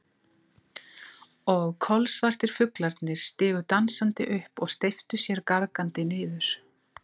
Og kolsvartir fuglarnir stigu dansandi upp og steyptu sér gargandi niður.